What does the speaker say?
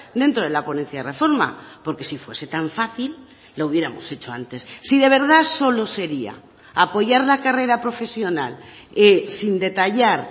dentro de la ponencia de reforma porque si fuese tan fácil lo hubiéramos hecho antes sí de verdad solo sería apoyar la carrera profesional sin detallar